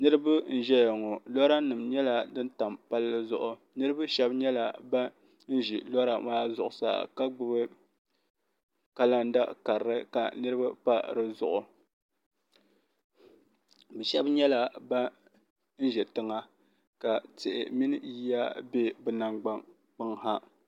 niriba n ʒɛya ŋɔ lori nyɛla din tam pali zuɣ' niriba shɛbi nyɛla ban ʒɛ lori maa zuɣ' saa ka gbabi kalanida karili ka niriba pa di zuɣ' shɛbi nyɛla ban ʒɛ tiŋa ka tihi mini yiya bɛ be nagbaŋ ha